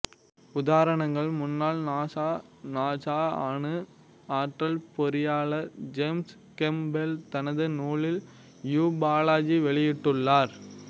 உதாரணங்கள் முன்னாள் NASA NASA அணுஆற்றல் பொறியாளர் ஜேம்ஸ் கேம்ப்பெல் தனது நூலில் யுபாலஜி வெளியிட்டுள்ளார்